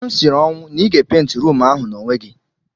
M siri ọnwụ na ị ga-epenti ruumu ahụ n'onwe gị.